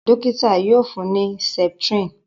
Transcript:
dókítà yíò fún ní septrin